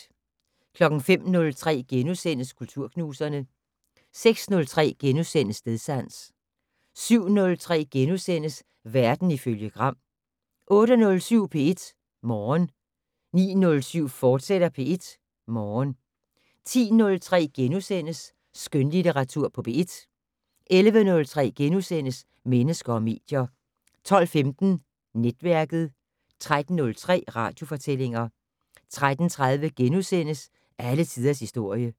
05:03: Kulturknuserne * 06:03: Stedsans * 07:03: Verden ifølge Gram * 08:07: P1 Morgen 09:07: P1 Morgen, fortsat 10:03: Skønlitteratur på P1 * 11:03: Mennesker og medier * 12:15: Netværket 13:03: Radiofortællinger 13:30: Alle tiders historie *